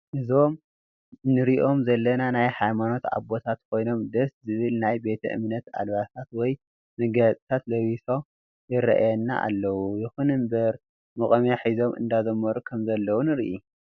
እዞም ንርኦም ዘለና ናይ ሃይማኖት ኣባትት ኮይኖም ደስ ዝብል ናይ ቤተ እምነት ኣልባሳት ወይ መጋየፅታት ለቢሶ ይራአይና ኣለው ይኩን እንበር ሞቆምያ ሕዞም እዳዘመሩ ከም ዘለው ንርኢ።